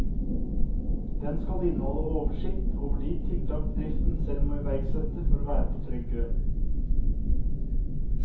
Den skal inneholde oversikt over de tiltak bedriften selv må iverksette for å være på trygg grunn.